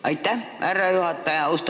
Aitäh, härra juhataja!